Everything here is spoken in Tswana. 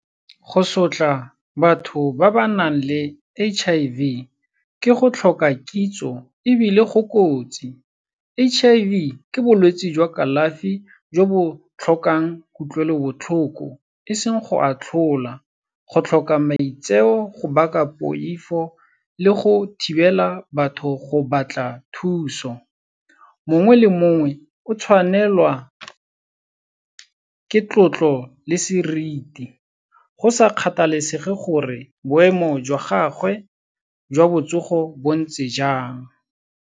Go sotla batho ba ba nang le H_I_V, ke go tlhoka kitso ebile go kotsi. H_I_V ke bolwetsi jwa kalafi jo bo tlhokang kutlwelobotlhoko, e seng go atlholwa. Go tlhoka maitseo, go baka poifo le go thibela batho go batla thuso. Mongwe le mongwe o tshwanelwa ke tlotlo le seriti, go sa kgathalesege gore boemo jwa gagwe jwa botsogo bo ntse jang.